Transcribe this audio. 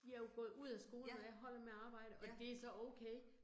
De er jo gået ud af skolen, når jeg holder med at arbejde, og det så okay